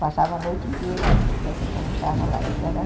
passava a noite inteira e a gente almoçava lá, isso era